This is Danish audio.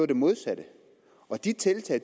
det modsatte og de tiltag